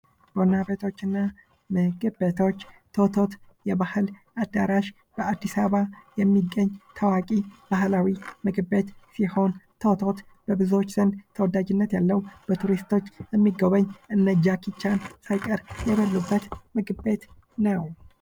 ቡና ቤቶች እና ምግብ ቤቶች፤ ቶቶት የባህል አዳራሽ በአዲስ አበባ የሚገኝ ታዋቂ ባህላዊ ምግብ ቤት ሲሆን ቶቶት በብዙዎች ዘንድ ተወዳጅነት ያለው በቱሪስቶች የሚጎበኝ እነ ጃኪ ቻን ሳይቀር የበሉበት ምግብ ቤት ነው።